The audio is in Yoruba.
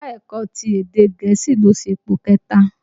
Ẹ̀ka-ẹ̀kọ ti èdè gẹ̀ẹ́sì ló ṣepò kẹ̀ta